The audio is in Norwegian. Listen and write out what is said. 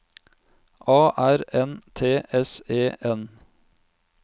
A R N T S E N